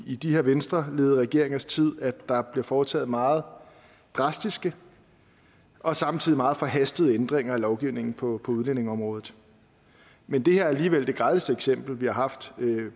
i de her venstreledede regeringers tid at der bliver foretaget meget drastiske og samtidig meget forhastede ændringer af lovgivningen på udlændingeområdet men det her er alligevel det grelleste eksempel vi har haft